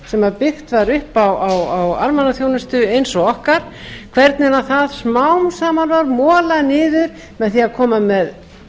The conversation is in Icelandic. sem byggt var upp á almannaþjónustu eins og okkar hvernig það smám saman var molað niður með því að koma með